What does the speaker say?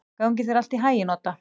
Gangi þér allt í haginn, Odda.